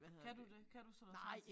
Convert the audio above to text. Kan du det kan du sådan noget tegn